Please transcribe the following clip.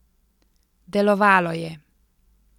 Delovalo je!